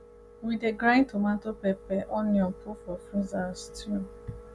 we dey grind tomato pepper onion put for freezer as stew